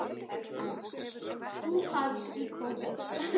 Það var staður. og þar var bara grár sandur.